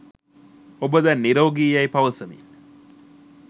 ඔබ දැන් නිරෝගි යැයි පවසමින්